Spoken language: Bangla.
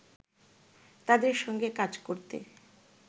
তাদের সঙ্গে কাজ করতে